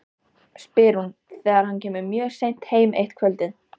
spyr hún þegar hann kemur mjög seint heim eitt kvöldið.